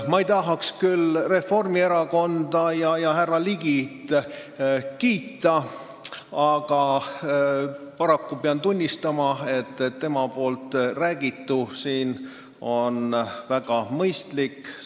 Ma ei tahaks küll Reformierakonda ja härra Ligit kiita, aga paraku pean tunnistama, et tema räägitu on väga mõistlik.